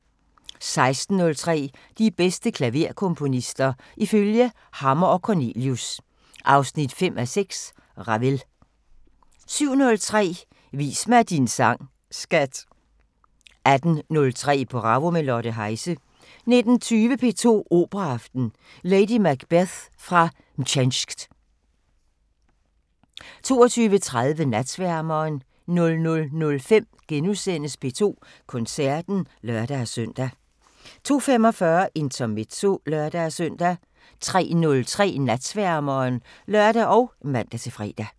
16:03: De bedste klaverkomponister – ifølge Hammer & Cornelius (5:6): Ravel 17:03: Vis mig din sang, skat! 18:03: Bravo – med Lotte Heise 19:20: P2 Operaaften: Lady Macbeth fra Mtsensk 22:30: Natsværmeren 00:05: P2 Koncerten *(lør-søn) 02:45: Intermezzo (lør-søn) 03:03: Natsværmeren (lør og man-fre)